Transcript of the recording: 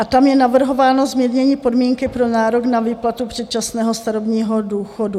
A tam je navrhováno zmírnění podmínky pro nárok na výplatu předčasného starobního důchodu.